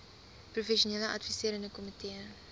professionele adviserende komitee